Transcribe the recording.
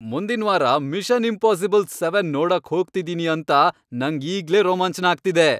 ಮುಂದಿನ್ವಾರ mission impossible seven ನೋಡಕ್ ಹೋಗ್ತಿದೀನಿ ಅಂತ ನಂಗ್ ಈಗ್ಲೇ ರೋಮಾಂಚ್ನ ಆಗ್ತಿದೆ.